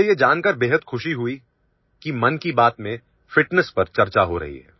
मुझे यह जानकर बेहद खुशी हुई कि मन की बात में फिटनेस पर चर्चा हो रही है